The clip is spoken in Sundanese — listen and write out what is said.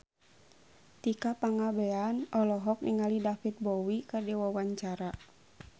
Tika Pangabean olohok ningali David Bowie keur diwawancara